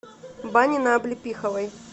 бани на облепиховой